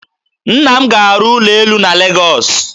Nna m ga-arụ ụlọ elu na Legọs